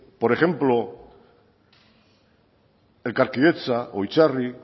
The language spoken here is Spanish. por ejemplo elkarkidetza o itzarri